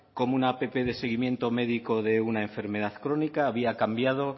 como una app de seguimiento médico de una enfermedad crónica había cambiado